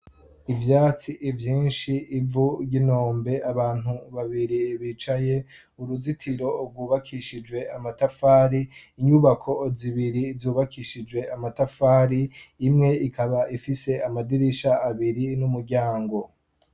Ivyatsi vyinshi, ivu ry'inombe abantu babiri bicaye; uruzitiro rwubakishijwe amatafari; inyubako zibiri zubakishijwe amatafari , imwe ikaba ifise amadirisha abiri n'umuryango.